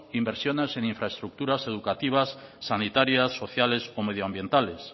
inversiones en infraestructuras educativas sanitarias sociales o medioambientales